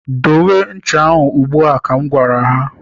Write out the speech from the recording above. Dowe ncha ahụ ugbu a! ka m gwara ya.